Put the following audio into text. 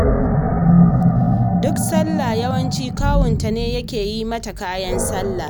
Duk sallah yawanci kawunta ne yake yi mata kayan sallah